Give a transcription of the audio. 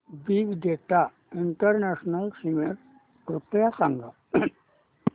big data international summit कृपया सांगा